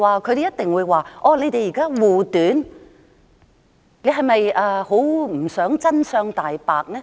他們一定會指責我們護短，是否不想真相大白？